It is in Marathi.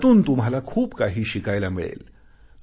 यातून तुम्हाला खूप काही शिकायला मिळेल